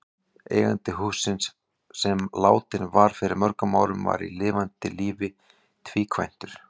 Eigandi hússins, sem látinn var fyrir mörgum árum, var í lifanda lífi tvíkvæntur.